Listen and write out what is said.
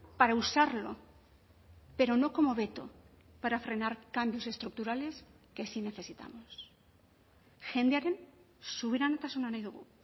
para usarlo pero no como veto para frenar cambios estructurales que sí necesitamos jendearen subiranotasuna nahi dugu